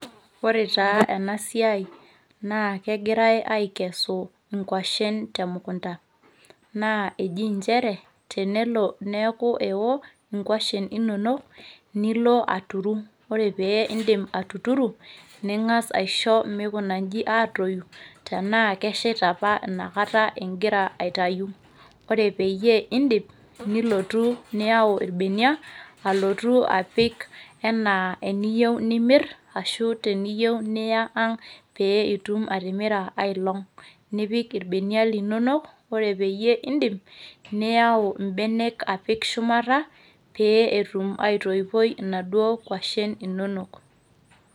Ore taa ena siai, naa kegirai aikesu inkuashin temukunta. Naa eji nchere tenelo neeku eo inkuashin inono nilo aturu, ore pee indim atuturu ning'as aisho meikuna inji aatoyu tenaa keshita apa inakata igira aitayu. Ore peyie indip nilotu niyau ilbenia alotu apik enaa eniyou nimirr ashuu teniyou niya ang' pee itum atimira aelong' nipik ilbenia linonok ore peyie indip niyau mbenek apik shumata pee etum aitoipo naduo kuashin inonok.